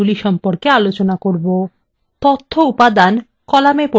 4 তথ্য উপাদান কলামে পরিবর্তন করা